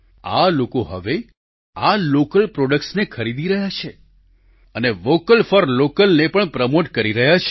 આ લોકો હવે આ લોકલ પ્રોડક્ટ્સને જ ખરીદી રહ્યા છે અને વોકલ ફોર લોકલ ને પણ પ્રમોટ કરી રહ્યા છે